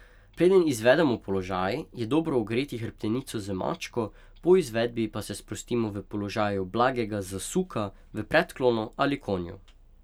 Preden izvedemo položaj, je dobro ogreti hrbtenico z mačko, po izvedbi pa se sprostimo v položaju blagega zasuka v predklonu ali konju.